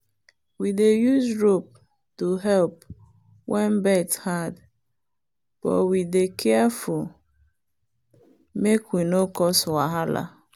we dey use rope to help when birth hard but we dey careful make we no cause wahala.